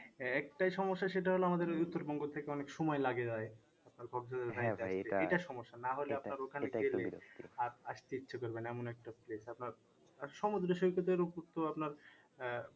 একটাই সমস্যা সেটা হলো আমাদের থেকে অনেক সময় লাগে যাই আর আসতে ইচ্ছা করবে না এমন একটা place আপনার আর সমুদ্র সৈকতের উপর তো আপনার আহ